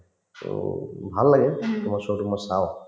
সেনেকুৱাই to ভাল লাগে তোমাৰ show তো মই চাওঁ